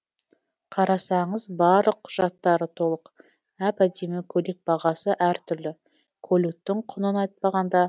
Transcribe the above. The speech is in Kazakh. қарасаңыз барлық құжаттары толық әп әдемі көлік бағасы әр түрлі көліктің құнын айтпағанда